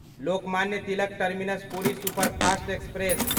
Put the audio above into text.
Lokmanya Tilak terminus Puri superfast express